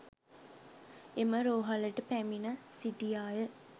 එම රෝහලට පැමිණ සිටියාය.